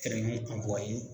ka bon a ye.